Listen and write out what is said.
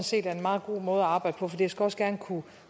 set er en meget god måde at arbejde på for det skal også gerne kunne